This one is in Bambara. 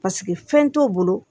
Paseke fɛn t'u bolo